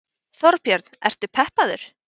Þorbjörn: Ertu peppaður?